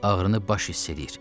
Ağrını baş hiss eləyir.